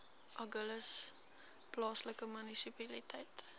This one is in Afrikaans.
agulhas plaaslike munisipaliteit